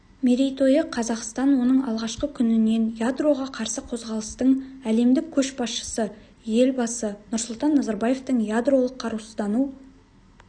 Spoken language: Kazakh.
мерейтойы қазақстан оның алғашқы күнінен ядроға қарсы қозғалыстың әлемдік көшбасшысы елбасы нұрсұлтан назарбаевтың ядролық қарусыздану